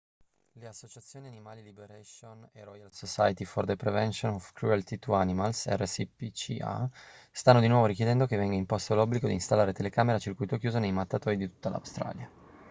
le associazioni animal liberation e royal society for the prevention of cruelty to animals rspca stanno di nuovo richiedendo che venga imposto l'obbligo di installare telecamere a circuito chiuso nei mattatoi di tutta l'australia